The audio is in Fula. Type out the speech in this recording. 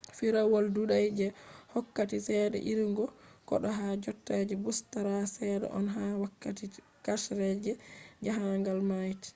firawol ɗuɗai je hokkata ceede irugo goɗɗo ha jotta je ɓustari seɗɗa on ha wakkati karshe je jaahangal mayti